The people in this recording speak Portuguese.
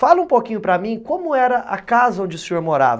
Fala um pouquinho para mim como era a casa onde o senhor morava.